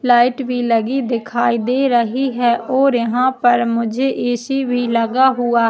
light भी लगी दिखाई दे रही है और यहाँ पर मुझे ऐसी भी लगा हुआ --